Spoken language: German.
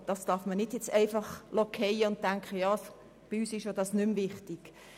Man darf dies nicht fallen lassen und denken, dies sei bei uns nicht mehr wichtig.